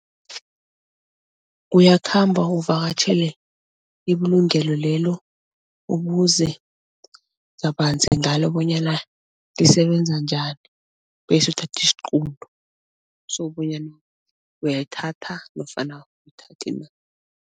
Uyakhamba uvakatjhele ibulungelo lelo ubuze kabanzi ngalo bonyana lisebenza njani bese uthatha isiqunto sokobanyana uyayithatha nofana awuyithathi na.